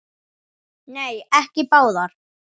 Nei, ekki báðar.